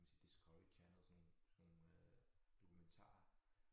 Kan man sige Discovery Channel sådan nogle sådan nogle øh dokumentarer